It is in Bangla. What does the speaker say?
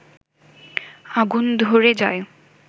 আগুন ধরে যায়